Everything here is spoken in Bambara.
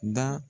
Da